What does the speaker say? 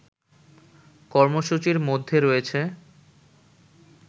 কর্মসূচির মধ্যে রয়েছে